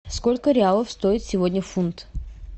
сколько реалов стоит сегодня фунт